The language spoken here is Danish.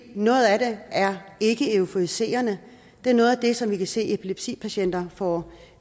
noget af det er ikkeeuforiserende det er noget af det som vi kan se at epilepsipatienter får